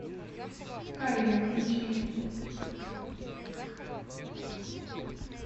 корея включи